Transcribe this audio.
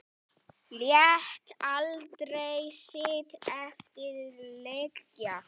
Lét aldrei sitt eftir liggja.